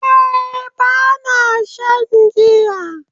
Eh, Bana shan giya